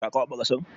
Ka kwaɓa ƙasan?